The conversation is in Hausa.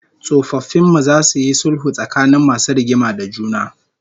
Tsofaffin mu zasu yi sulhu tsakanin masu rigima da juna